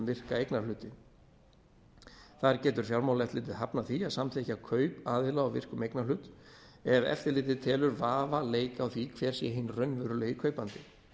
virka eignarhlutinn þar getur fjármálaeftirlitið hafnað því að samþykkja kaup aðila á virkum eignarhlut ef eftirlitið telur vafa leika á því hver sé hinn raunverulegi kaupandi